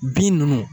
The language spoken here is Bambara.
Bin nunnu